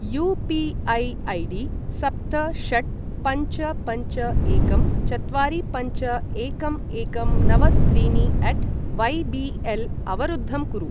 UPI ID सप्त षट् पञ्च पञ्च एकं चत्वारि पञ्च एकं एकं नव त्रीणि अट वै बि एल् अवरुद्धं कुरु।